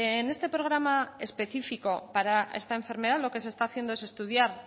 en este programa específico para esta enfermedad lo que se está haciendo es estudiar